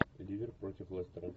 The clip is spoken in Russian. ливер против лестера